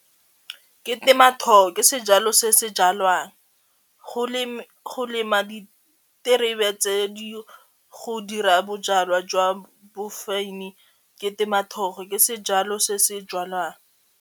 Ke ke sejalo se se jalwang go lema diterebe tse di go dira bojalwa jwa ke ke sejalo se se jalwang.